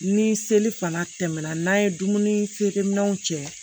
Ni seli fana tɛmɛna n'an ye dumuni feere minɛnw cɛ